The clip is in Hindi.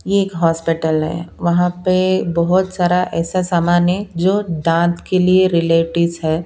ये एक हॉस्पिटल है वहां पे बहुत सारा ऐसा सामान है जो दांत के लिए रिलेटिव्स है।